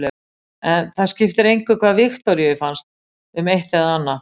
En það skipti engu hvað Viktoríu fannst um eitt eða annað.